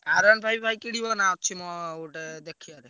ଭାଇ କିଣିବା ନା ଅଛି ମୋ ଗୋଟେ ଦେଖିଆ?